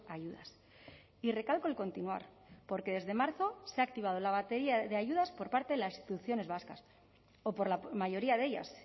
ayudas y recalco el continuar porque desde marzo se ha activado la batería de ayudas por parte de las instituciones vascas o por la mayoría de ellas